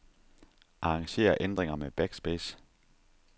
Arranger ændringer med backspace.